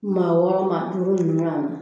Maa wɔɔrɔ maa duuru ɲɔnnan.